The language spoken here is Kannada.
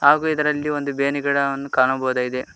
ಹಾಗೂ ಇದರಲ್ಲಿ ಬೇವಿನ ಗಿಡವನ್ನು ಕಾಣಬಹುದಾಗಿದೆ.